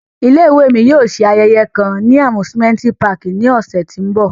Ile-iwe mi yóò ṣe ayẹyẹ kan ni amusimenti pààki ni ọsẹ ti n bọ.